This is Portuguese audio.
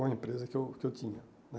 Com a empresa que eu que eu tinha, né?